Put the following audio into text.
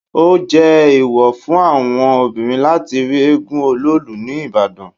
Ó jé èwọ̀ fún àwọn obìnrin láti rí éégún Ọlóòlù ní Ìbàdàn.